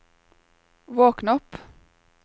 våkn opp